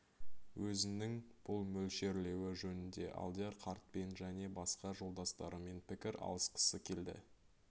өзінің бұл мөлшерлеуі жөнінде алдияр қартпен және басқа жолдастарымен пікір алысқысы келді